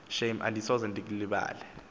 shame andisoze ndilubeke